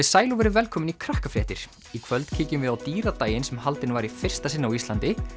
sæl og verið velkomin í Krakkafréttir í kvöld kíkjum við á dýradaginn sem haldinn var í fyrsta sinn á Íslandi